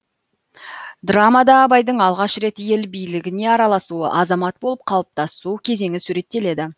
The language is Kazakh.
драмада абайдың алғаш рет ел билігіне араласуы азамат болып қалыптасу кезеңі суреттеледі